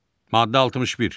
Maddə 61.